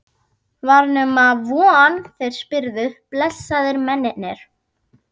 Var nema von þeir spyrðu, blessaðir mennirnir!